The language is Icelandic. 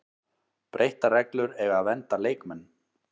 Breyttar reglur eiga að vernda leikmenn